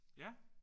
Ja?